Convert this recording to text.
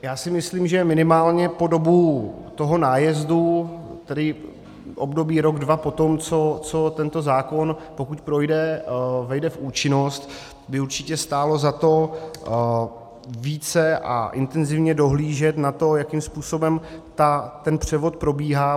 Já si myslím, že minimálně po dobu toho nájezdu, tedy období rok dva poté, co tento zákon - pokud projde - vejde v účinnost, by určitě stálo za to více a intenzivně dohlížet na to, jakým způsobem ten převod probíhá.